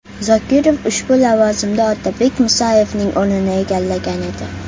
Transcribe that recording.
Zokirov ushbu lavozimda Otabek Musayevning o‘rnini egallagan edi.